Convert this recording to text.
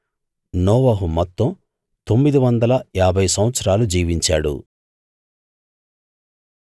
నోవహు మొత్తం తొమ్మిదివందల ఏభై సంవత్సరాలు జీవించాడు